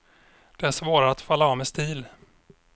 Det är svårare att falla av med stil.